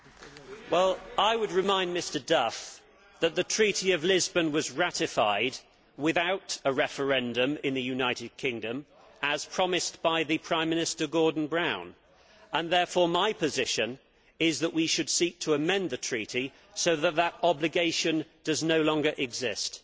Madam President, I would remind Mr Duff that the Treaty of Lisbon was ratified without a referendum in the United Kingdom as was promised by the Prime Minister Gordon Brown and therefore my position is that we should seek to amend the Treaty so that this obligation no longer exists.